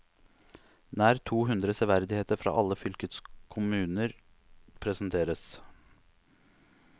Nær to hundre severdigheter fra alle fylkets kommuner presenteres.